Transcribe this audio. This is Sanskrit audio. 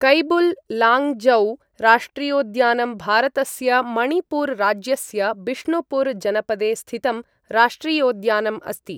कैबुल् लाञ्जौ राष्ट्रियोद्यानं भारतस्य मणिपुर राज्यस्य बिष्णुपुर जनपदे स्थितं राष्ट्रियोद्यानम् अस्ति।